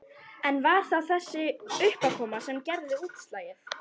En var það þessi uppákoma sem gerði útslagið?